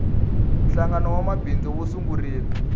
hlangano wa vamabindzu wu sungurile